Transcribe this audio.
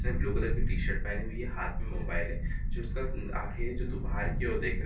उसने blue colour की T-shirt पहनी हुई है| हाथ में मोबाइल है जो इसका आँखें जो बाहर की ओर देख रही हैं।